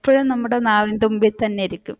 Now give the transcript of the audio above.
എപ്പഴും നമ്മുടെ നാവിൻ തുമ്പിൽ തന്നെ ഇരിക്കും